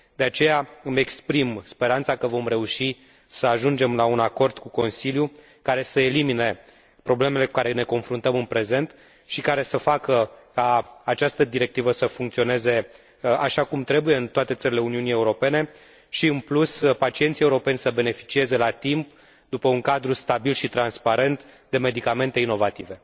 De aceea, îmi exprim speranța că vom reuși să ajungem la un acord cu Consiliul, care să elimine problemele cu care ne confruntăm în prezent și care să facă ca această directivă să funcționeze așa cum trebuie în toate țările Uniunii Europene și, în plus, pacienții europeni să beneficieze la timp, într un cadru stabil și transparent, de medicamente inovatoare.